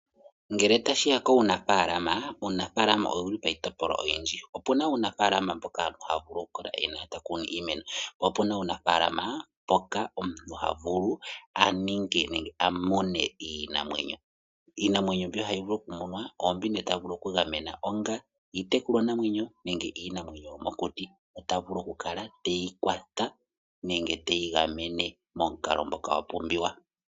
Ngele tashiya kuunafaalama ,uunafaalama owuli piitopolwa oyindji. opuna uunafaalama mboka omuntu havulu okukala ena ,po opuna uunafaalama mboka omuntu havulu aninge nenge amune iinamwenyo. iinamwenyo mbi tavulu okumuna iimuna mbi onga iitekulwa namwenyo nenge iinamwenyo yomokuti otavulu okukala teyi kwata nenge teyi gamene momukalo ngoka gwapumbiwa.